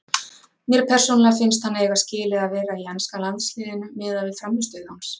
Mér persónulega finnst hann eiga skilið að vera í enska landsliðinu miðað við frammistöðu hans.